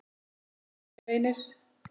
þinn sonur, Reynir.